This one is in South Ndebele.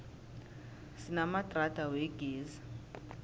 sinamadrada wegezi